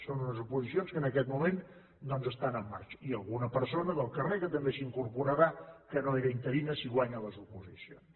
són unes oposicions que en aquest moment doncs estan en marxa i alguna persona del carrer que també s’hi incorporarà que no era interina si guanya les oposicions